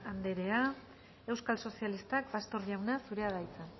anderea euskal sozialistak pastor jauna zurea da hitza